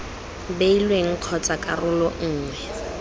beilweng kgotsa ii karolo nngwe